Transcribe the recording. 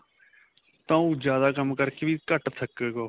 ਤਾਂ ਉਹ ਜਿਆਦਾ ਕੰਮ ਕਰਕੇ ਵੀ ਘੱਟ ਥੱਕੇਗਾ ਉਹ